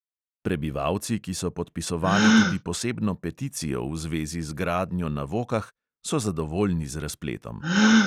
Prebivalci, ki so podpisovali tudi posebno peticijo v zvezi z gradnjo na vokah, so zadovoljni z razpletom.